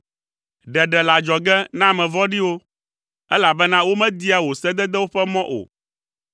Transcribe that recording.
Ɖeɖe le adzɔge na ame vɔ̃ɖiwo, elabena womedia wò sededewo ƒe mɔ o.